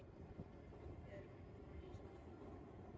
Ísbjörg skal í skóla.